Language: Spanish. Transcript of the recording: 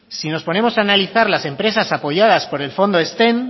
si nos ponemos a analizar las empresas apoyadas por el fondo ezten